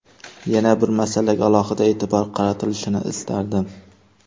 Yana bir masalaga alohida e’tibor qaratilishini istardim.